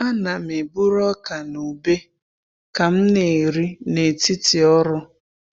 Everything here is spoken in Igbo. A na'm-eburu ọka na ube ka m na-eri n’etiti ọrụ.